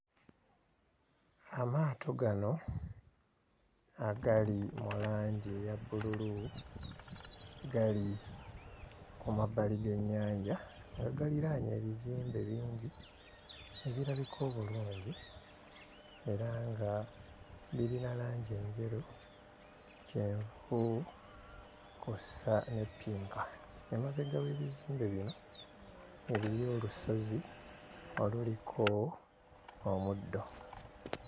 Amaato gano agali mu langi eya bbululu gali ku mabbali g'ennyanja nga galiraanye ebizimbe bingi ebirabika obulungi era nga birina langi enjeru, kyenvu kw'ossa ne ppinka, emabega w'ebizimbe bino eriyo olusozi oluliko omuddo.